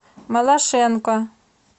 малашенко